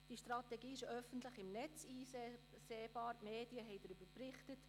Die Strategie ist öffentlich im Internet einsehbar, die Medien haben darüber berichtet.